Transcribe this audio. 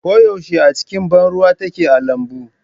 Ko yaushe a cikin ban ruwa take a lambun.